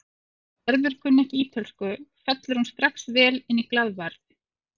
Þótt Gerður kunni ekki ítölsku fellur hún strax vel inn í glaðværð